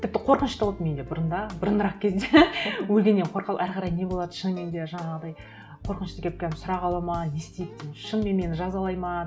тіпті қорқыныш та болатын менде бұрында бұрынырақ кезде өлгеннен әрі қарай не болады шынымен де жаңағыдай қорқынышты келіп прямо сұрақ алады ма не істейді деген шынымен мені жазалайды ма